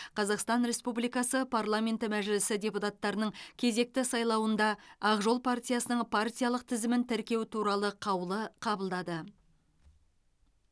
қазақстан республикасы парламенті мәжілісі депутаттарының кезекті сайлауында ақ жол партиясының партиялық тізімін тіркеу туралы қаулы қабылдады